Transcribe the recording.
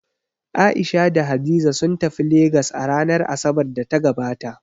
A'isha da Hadiza sun tafi Legas a ranar Asabar da ta gabata